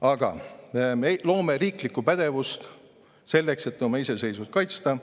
Aga me loome riiklikku pädevust selleks, et oma iseseisvust kaitsta.